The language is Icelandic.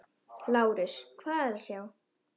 LÁRUS: Hvað er að sjá?